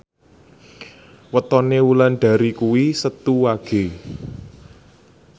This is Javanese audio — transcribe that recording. wetone Wulandari kuwi Setu Wage